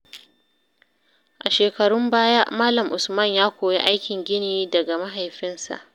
A shekarun baya, Malam Usman ya koyi aikin gini daga mahaifinsa.